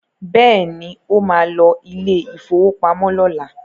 Bẹ́ẹ̀ni, ó ma lọ ilé ìfowópamọ́ lọ́la